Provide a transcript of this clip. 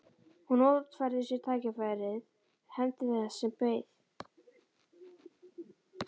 Hún notfærði sér tækifærið, hefndi þess sem beið.